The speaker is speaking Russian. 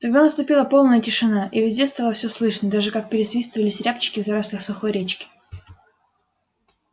тогда наступила полная тишина и везде стало все слышно даже как пересвистывались рябчики в зарослях сухой речки